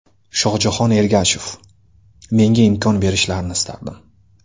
Shohjahon Ergashev: Menga imkon berishlarini istardim.